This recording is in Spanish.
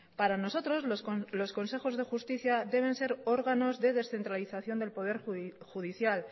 para nosotros los consejos de justicia deben ser órganos de descentralización del poder judicial